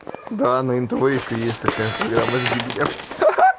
да на нтв ещё есть такая программа жди меня ха-ха